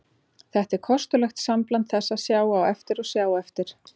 Þetta er kostulegt sambland þess að sjá á eftir og sjá eftir.